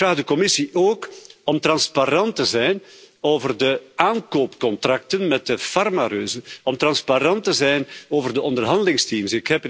Maar ik vraag de Commissie ook om transparant te zijn over de aankoopcontracten met de farmareuzen, om transparant te zijn over de onderhandelingsteams.